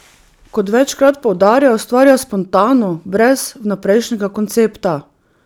Kot večkrat poudarja, ustvarja spontano, brez vnaprejšnjega koncepta.